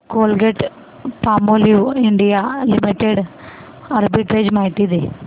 Colgate Palmolive India limited arbitrage माहिती दे